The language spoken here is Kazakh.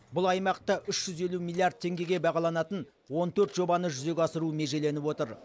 бұл аймақта үш жүз елу миллиард теңгеге бағаланатын он төрт жобаны жүзеге асыру межеленіп отыр